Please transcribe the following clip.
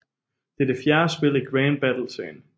Det er det fjerde spil i Grand Battle serien